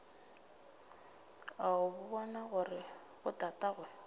o a bona gore botatagwe